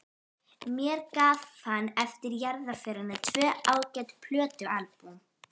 Mér gaf hann eftir jarðarförina tvö ágæt plötualbúm.